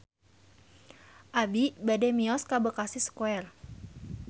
Abi bade mios ka Bekasi Square